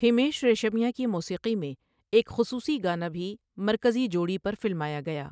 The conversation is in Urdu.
ہمیش ریشمیا کی موسیقی میں ایک خصوصی گانا بھی مرکزی جوڑی پر فلمایا گیا۔